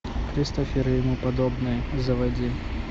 кристофер и ему подобные заводи